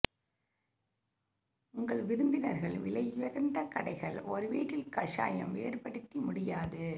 உங்கள் விருந்தினர்கள் விலையுயர்ந்த கடைகள் ஒரு வீட்டில் கஷாயம் வேறுபடுத்தி முடியாது